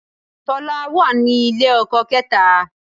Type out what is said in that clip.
Tọ́lání wà ní ilé ọkọ kẹ́ta